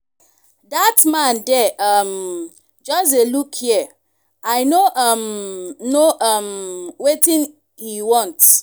that man there um just dey look here i no um know um wetin he want